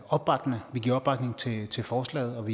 opbakkende vi giver opbakning til forslaget og